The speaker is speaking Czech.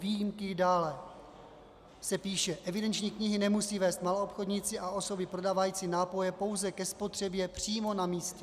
Výjimky dále se píše: Evidenční knihy nemusí vést maloobchodníci a osoby prodávající nápoje pouze ke spotřebě přímo na místě.